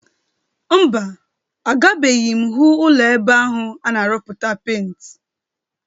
Mba, agabeghi m hụ ụlọ ebe ahụ a na-arụputa penti.